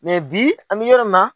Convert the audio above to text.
bi an mɛ yɔrɔ min na